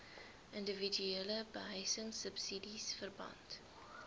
indiwiduele behuisingsubsidies verband